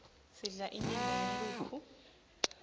sidla inyama yenkhukhu